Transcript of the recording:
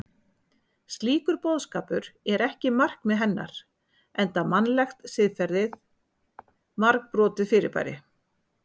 Slíkur boðskapur er ekki markmið hennar enda mannlegt siðferði margbrotið fyrirbæri.